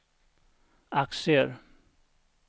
aktier